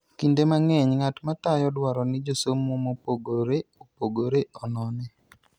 Kinde mang'eny, ng'at matayo dwaro ni josomo mopogore opogore onone.